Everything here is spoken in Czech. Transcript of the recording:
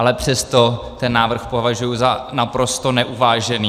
Ale přesto ten návrh považuji za naprosto neuvážený.